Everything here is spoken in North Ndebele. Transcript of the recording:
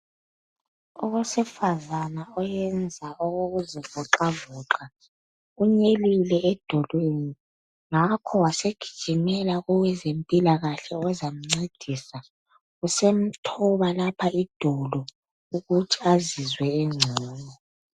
Owesifazana oyenza okokuzivoxavoxa unyelile edolweni ngakho wasegijimela kowezempilakahle ozamncedisa usemthola lapha edolo ukuthi azizwe engcono